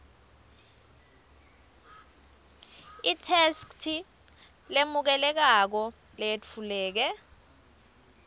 itheksthi lemukelekako leyetfuleke